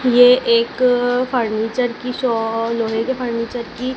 ये एक फर्नीचर की शॉ लोहे की फर्नीचर की--